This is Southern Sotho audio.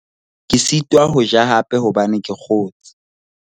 ke sitwa ho ja hape hobane ke kgotshe